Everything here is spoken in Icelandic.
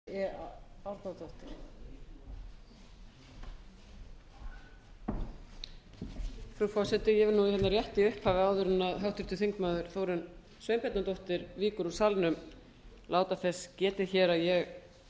frú forseti ég vil nú hérna rétt í upphafi áður en háttvirtur þingmaður þórunn sveinbjarnardóttir víkur úr salnum láta þess getið hér að ég